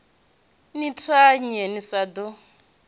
ni thanye ni sa ḓo